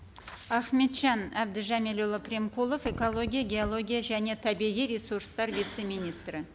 ахметжан әбдіжәмілұлы примкулов экология геология және табиғи ресурстар вице министрі